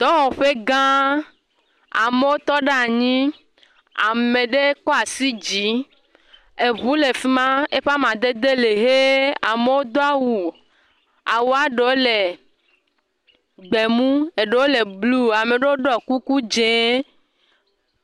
Dɔwɔƒe gã ame aɖe tɔ ɖe anyi, ame ɖe kɔ asi yi dzi, eŋu le fi ma eƒe amadede le ʋe amewo do awu, awua ɖewo le gbe mu eɖewo le blu ame aɖewo ɖɔ kuku dzɛ̃.